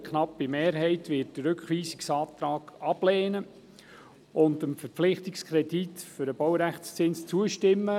Eine knappe Mehrheit wird den Rückweisungsantrag ablehnen und dem Verpflichtungskredit für den Baurechtszins zuzustimmen.